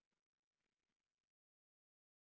.